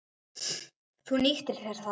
Þú nýttir þér það.